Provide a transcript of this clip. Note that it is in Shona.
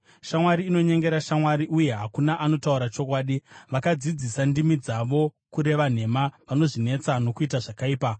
Shamwari inonyengera shamwari, uye hakuna anotaura chokwadi. Vakadzidzisa ndimi dzavo kureva nhema; vanozvinetsa nokuita zvakaipa.